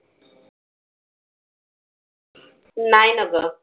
नाही ना ग.